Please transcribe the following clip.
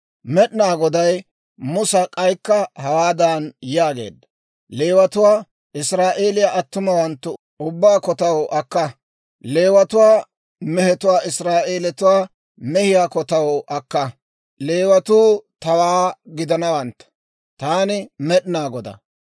«Leewatuwaa Israa'eeliyaa attumawanttu ubbaa kotaw akka; Leewatuwaa mehetuwaa Israa'eelatuwaa mehiyaa kotaw akka; Leewatuu tawaa gidanawantta. Taani Med'inaa Godaa.